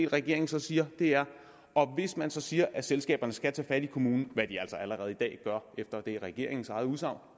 regeringen så siger er at hvis man så siger at selskaberne skal tage fat i kommunen hvad de altså allerede efter regeringens eget udsagn